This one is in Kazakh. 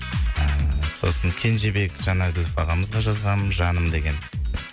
ыыы сосын кенжебек жанәбілов ағамызға жазғам жаным деген